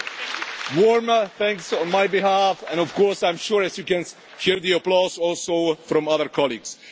So warm thanks, on my behalf and of course as I am sure you can hear the applause also from other colleagues.